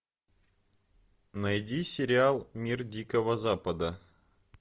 найди сериал мир дикого запада